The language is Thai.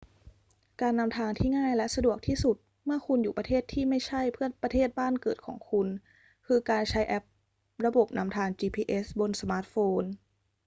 การนำทางที่ง่ายและสะดวกที่สุดเมื่อคุณอยู่ประเทศที่ไม่ใช่ประเทศบ้านเกิดของคุณคือการใช้แอประบบนำทาง gps บนสมาร์ทโฟน